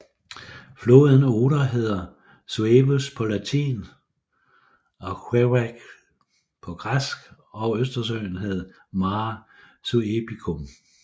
Floden Oder hed Suevus på latin og Συήβος på græsk og østersøen hed Mare Suebicum